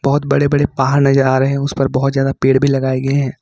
बहुत बड़े बड़े पहाड़ नजर आ रहे हैं उस पर बहुत ज्यादा पेड़ भी लगाए गए हैं।